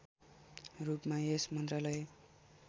रूपमा यस मन्त्रालय